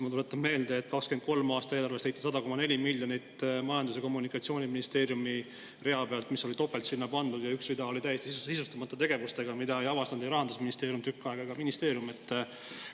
Ma tuletan meelde, et 2023. aasta eelarves leiti Majandus‑ ja Kommunikatsiooniministeeriumi rea pealt 100,4 miljonit, mis oli sinna topelt pandud, ja üks rida oli tegevustega täiesti sisustamata, ning seda ei avastanud tükk aega ei Rahandusministeerium ega see ministeerium ise.